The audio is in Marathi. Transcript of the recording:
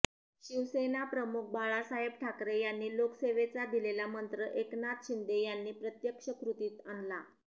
शिवसेनाप्रमुख बाळासाहेब ठाकरे यांनी लोकसेवेचा दिलेला मंत्र एकनाथ शिंदे यांनी प्रत्यक्ष कृतीत आणला